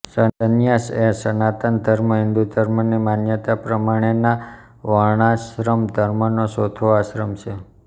સંન્યાસએ સનાતન ધર્મ હિંદુ ધર્મની માન્યતા પ્રમાણેનાં વર્ણાશ્રમ ધર્મનો ચોથો આશ્રમ છે